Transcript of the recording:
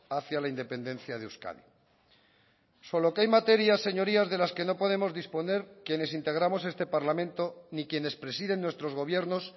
hacia la independencia de euskadi solo que hay materias señorías de las que no podemos disponer quienes integramos este parlamento ni quienes presiden nuestros gobiernos